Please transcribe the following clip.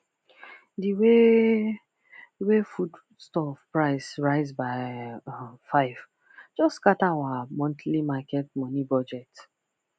the way way foodstuff price rise by um five just scatter our monthly market money budget